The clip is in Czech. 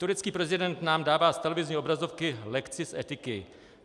Turecký prezident nám dává z televizní obrazovky lekci z etiky.